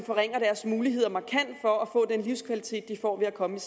forringer deres muligheder for at få den livskvalitet de får ved at komme